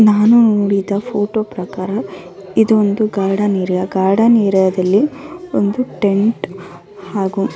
ನಾನು ನೋಡಿದ ಫೋಟೋ ಪ್ರಕಾರ ಇದು ಒಂದು ಗಾರ್ಡನ್ ಏರಿಯ ಗಾರ್ಡನ್ ಏರಿಯ ದಲ್ಲಿ ಒಂದು ಟೆಂಟ್ ಹಾ ಹಾಗು--